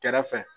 Kɛrɛfɛ